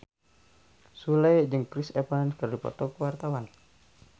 Sule jeung Chris Evans keur dipoto ku wartawan